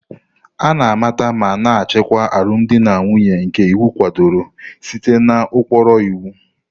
A na-amata ma na-achịkwa alụmdi na nwunye nke iwu kwadoro site n'ụkpụrụ iwu.